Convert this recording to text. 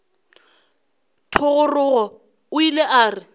thogorogo o ile a re